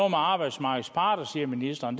arbejdsmarkedets parter siger ministeren